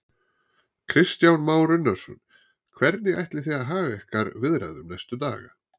Kristján Már Unnarsson: Hvernig ætlið þið að haga ykkar viðræðum næstu daga?